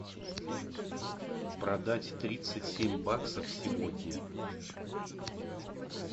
продать тридцать семь баксов сегодня